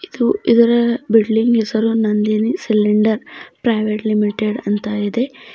ಮತ್ತು ಇದರ ಬಿಲ್ಡಿಂಗ್ ಹೆಸರು ನಂದಿನಿ ಸಿಲಿಂಡರ್ ಪ್ರೈವೇಟ್ ಲಿಮಿಟೆಡ್ ಅಂತ ಇದೆ.